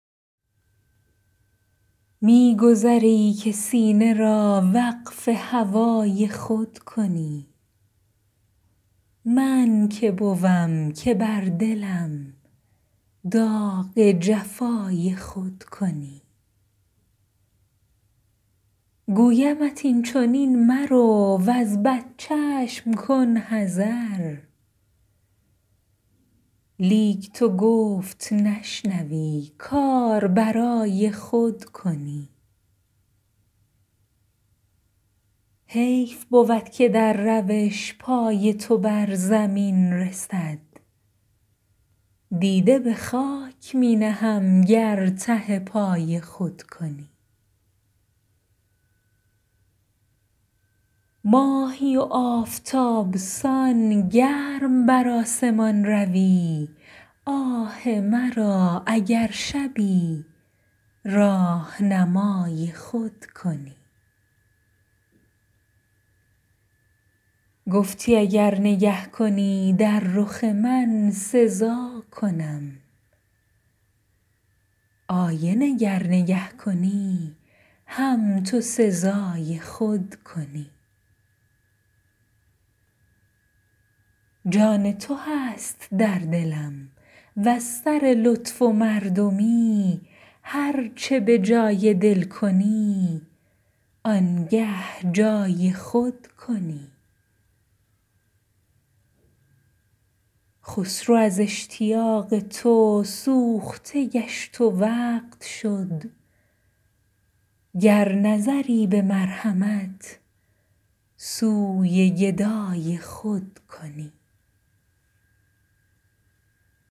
می گذری که سینه را وقف هوای خود کنی من که بوم که بر دلم داغ جفای خود کنی گویمت این چنین مرو وز بد چشم کن حذر لیک تو گفت نشنوی کار برای خود کنی حیف بود که در روش پای تو بر زمین رسد دیده به خاک می نهم گر ته پای خود کنی ماهی و آفتاب سان گرم بر آسمان روی آه مرا اگر شبی راهنمای خود کنی گفتی اگر نگه کنی دو رخ من سزا کنم آینه گر کنی نگه هم تو سزای خود کنی جان تو هست در دلم وز سر لطف و مردمی هر چه بجای دل کنی آنگه بجای خود کنی خسرو از اشتیاق تو سوخته گشت و وقت شد گر نظری به مرحمت سوی گدای خود کنی